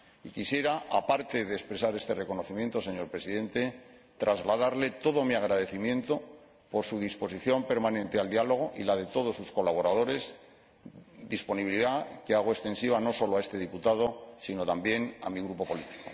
Quisiera, aparte de expresar este reconocimiento, señor Presidente, trasladarle todo mi agradecimiento por su disposición permanente al diálogo, así como la de todos sus colaboradores, disposición que hago extensiva no solo a este diputado, sino también a mi grupo político.